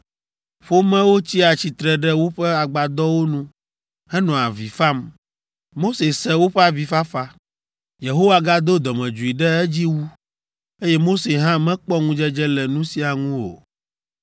Ƒomewo tsia tsitre ɖe woƒe agbadɔwo nu henɔa avi fam. Mose se woƒe avifafa. Yehowa gado dɔmedzoe ɖe edzi wu, eye Mose hã mekpɔ ŋudzedze le nu sia ŋu o.